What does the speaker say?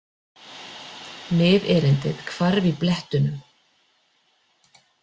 Miðerindið hvarf í blettunum.